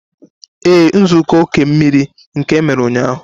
Ee, nzukọ oke mmiri nke emere ụnyahụ